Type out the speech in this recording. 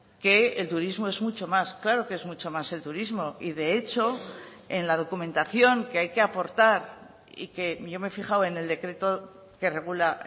que el turismo es mucho más claro que es mucho más el turismo y de hecho en la documentación que hay que aportar y que yo me he fijado en el decreto que regula